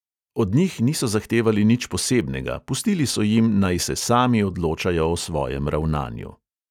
Od njih niso zahtevali nič posebnega, pustili so jim, naj se sami odločajo o svojem ravnanju.